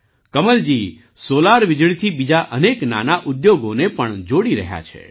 કમલજી solar વીજળીથી બીજા અનેક નાના ઉદ્યોગોને પણ જોડી રહ્યા છે